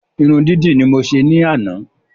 Irun dídì ni mo se ní àná